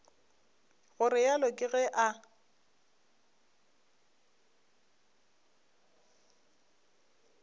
go realo ke ge a